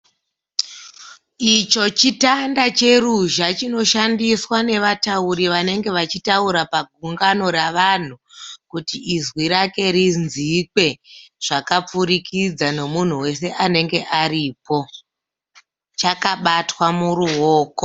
Icho chitanda cheruzha chinoshandiswa nevatauri vanenge vachitaura pagungano ravanhu kuti izwi rake rinzvike zvakapfurikidza nemunhu wese anenge aripo chakabatwa muruoko .